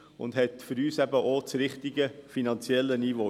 Das hat für uns auch das richtige finanzielle Niveau.